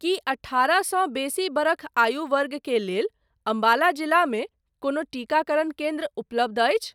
की अठारहसँ बेसी बरख आयु वर्गके लेल अम्बाला जिलामे कोनो टीकाकरण केन्द्र उपलब्ध अछि ?